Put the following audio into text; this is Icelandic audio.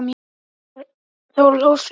Þórir ólst upp í Hvammi.